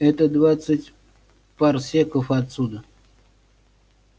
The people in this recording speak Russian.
это двадцать парсеков отсюда